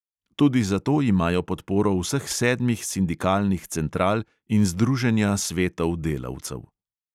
Tudi zato imajo podporo vseh sedmih sindikalnih central in združenja svetov delavcev.